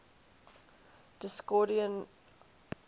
discordian society headed